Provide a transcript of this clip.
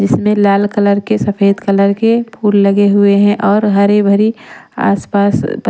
इसमें लाल कलर के सफेद कलर के फूल लगे हुए हैं और हरे भरी आसपास--